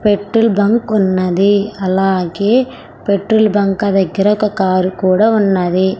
Petrol bunk ఉన్నది అలాగే petrol బంకా దగ్గర ఒక కారు కూడా ఉన్నది.